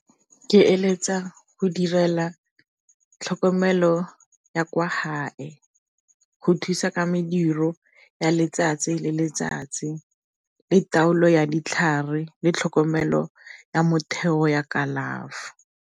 Ke eletsa go direla tlhokomelo ya kwa gae, go thusa ka mediro ya letsatsi le letsatsi le taolo ya ditlhare le tlhokomelo ya motheo ya kalafo.